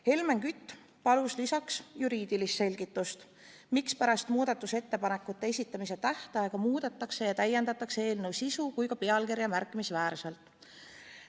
Helmen Kütt palus lisaks juriidilist selgitust, miks pärast muudatusettepanekute esitamise tähtaega muudetakse ja täiendatakse nii eelnõu sisu kui ka pealkirja märkimisväärselt.